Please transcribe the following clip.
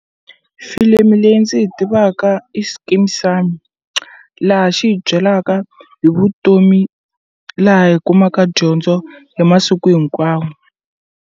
Filimi leyi ndzi yi tivaka i Skeem Saam laha xi hi byelaka hi vutomi laha hi kumaka dyondzo hi masiku hinkwawo.